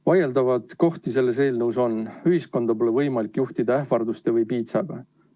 Vaieldavaid kohti selles eelnõus on, ühiskonda pole võimalik juhtida ähvarduste või piitsaga.